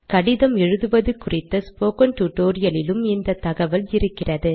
கடிதம் எழுதுவது குறித்த ஸ்போக்கன் டுடோரியலிலும் இந்த தகவல் இருக்கிறது